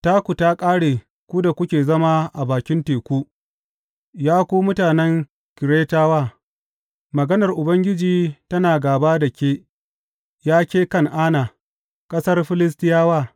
Taku ta ƙare ku da kuke zama a bakin teku, Ya ku mutanen Keretawa; maganar Ubangiji tana gāba da ke, Ya ke Kan’ana, ƙasar Filistiyawa.